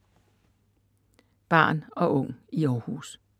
Barn og ung i Århus